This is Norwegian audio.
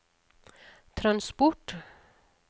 transport